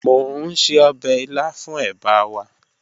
Mo n se ọbẹ ila fun eba wa